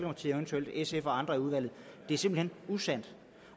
og eventuelt sf og andre i udvalget er simpelt hen usandt